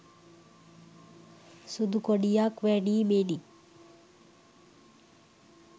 සුදු කොඩියක් වැනීමෙනි